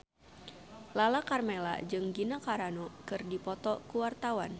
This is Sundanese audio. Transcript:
Lala Karmela jeung Gina Carano keur dipoto ku wartawan